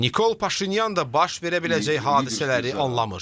Nikol Paşinyan da baş verə biləcək hadisələri anlamır.